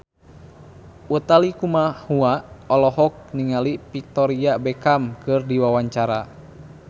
Utha Likumahua olohok ningali Victoria Beckham keur diwawancara